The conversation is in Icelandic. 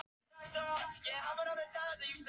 Ari þekkti vel hörkusvipinn, hann minnti hann á snæuglu.